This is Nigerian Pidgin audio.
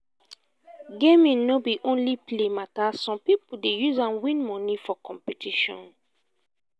gaming no be only play matter some people dey use am win money for competition.